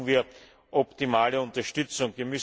Dafür brauchen wir optimale Unterstützung.